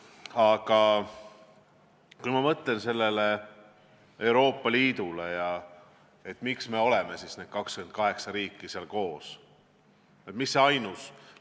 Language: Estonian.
Aga ma mõtlen Euroopa Liidule ja sellele, miks me, 28 riiki, oleme seal koos.